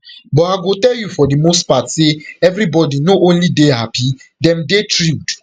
but i go tell you for di most part say everybody no only dey happy dem dey thrilled